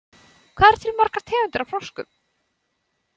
Hvað eru til margar tegundir af froskum?